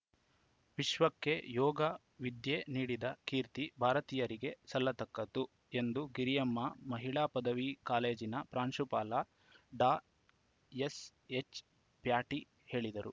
ವಿಶ್ವಕ್ಕೆ ಯೋಗ ವಿದ್ಯೆ ನೀಡಿದ ಕೀರ್ತಿ ಭಾರತೀಯರಿಗೆ ಸಲ್ಲತಕ್ಕದ್ದು ಎಂದು ಗಿರಿಯಮ್ಮ ಮಹಿಳಾ ಪದವಿ ಕಾಲೇಜಿನ ಪ್ರಾಂಶುಪಾಲ ಡಾ ಎಸ್‌ಎಚ್‌ಪ್ಯಾಟಿ ಹೇಳಿದರು